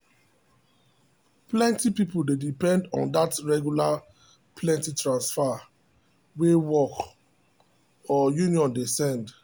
plenty people dey depend on that regular plenty transfer wey work or union dey send.